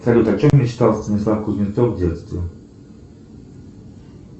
салют о чем мечтал станислав кузнецов в детстве